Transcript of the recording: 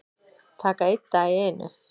Taka einn dag í einu